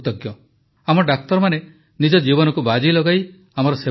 ଆମ ଡାକ୍ତରମାନେ ନିଜ ଜୀବନକୁ ବାଜି ଲଗାଇ ଆମର ସେବା କରୁଛନ୍ତି